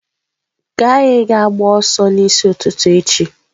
Ka anyị gaa gbaa ọsọ n'isi ụtụtụ echi.